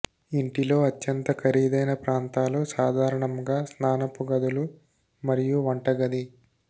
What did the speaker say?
ఇంటిలో అత్యంత ఖరీదైన ప్రాంతాలు సాధారణంగా స్నానపు గదులు మరియు వంటగది